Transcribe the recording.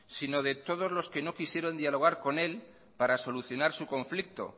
sino todos los que no quisieron dialogar con él para solucionar su conflicto